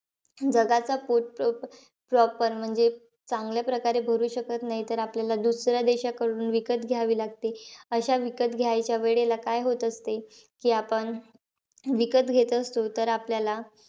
जगाचा proper म्हणजे चांगल्या प्रकारे भरू शकत नाही. तर, आपल्याला दुसऱ्या देशाकडून विकत घ्यावे लागते. अशा विकत घ्यायच्या वेळेला, काय होत असते? की आपण विकत घेत असतो तर आपल्याला,